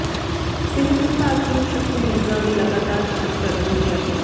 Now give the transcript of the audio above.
ਸਿਹਤ ਵਿਭਾਗ ਟੀਮ ਸ਼ੱਕੀ ਮਰੀਜ਼ਾ ਦੀ ਲਗਾਤਾਰ ਜਾਂਚ ਕਰ ਰਹੀ ਹੈ